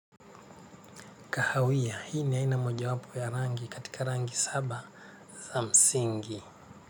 Kahawia, hii ni aina mojawapo ya rangi katika rangi saba za msingi.